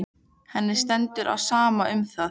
Henni stendur á sama um það.